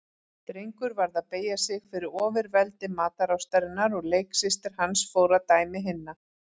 Drengur varð að beygja sig fyrir ofurveldi matarástarinnar og leiksystir hans fór að dæmi hinna.